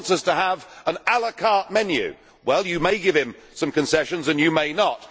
he wants us to have an la carte menu. Well, you may give him some concessions and you may not.